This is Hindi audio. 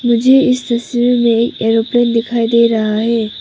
मुझे इस तस्वीर में एयरोप्लेन दिखाई दे रहा है।